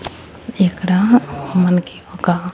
ఇక్కడ మనకి ఒక.